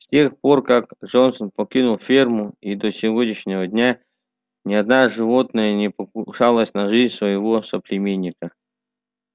с тех пор как джонсон покинул ферму и до сегодняшнего дня ни одна животное не покушалось на жизнь своего соплеменника